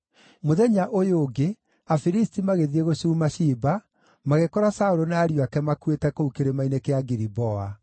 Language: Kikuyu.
Mũthenya ũyũ ũngĩ, Afilisti magĩthiĩ gũcuuma ciimba, magĩkora Saũlũ na ariũ ake makuĩte kũu Kĩrĩma-inĩ kĩa Giliboa.